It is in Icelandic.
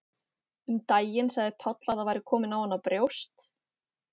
Um daginn sagði Páll að það væru komin á hana brjóst.